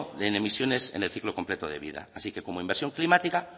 en emisiones en el ciclo completo de vida así que como inversión climática